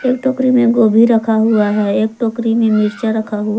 एक टोकरी में गोभी रखा हुआ है एक टोकरी में मिर्चा रखा हुआ--